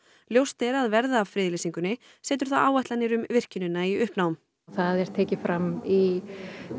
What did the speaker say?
ljóst er að verði af friðlýsingunni setur það áætlanir um virkjunina í uppnám það er tekið fram í